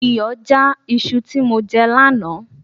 Iyọ já iṣu tí mo jẹ lánàá